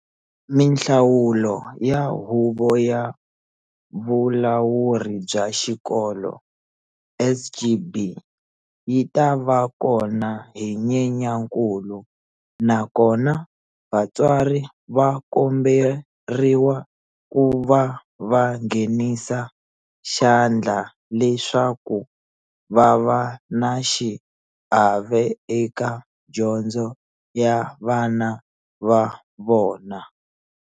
Mihlawulo ya Huvo ya Vulawuri bya Xikolo, SGB, yi ta va kona hi Nyenyankulu na kona vatswari va kombe riwa ku va va nghenisa xa ndla leswaku va va na xiave eka dyondzo ya vana va vona.